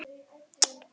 Það er langur listi.